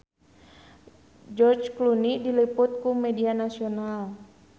George Clooney diliput ku media nasional